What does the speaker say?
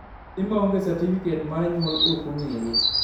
nyathi ma onge satifiket mar nyuol ok ongere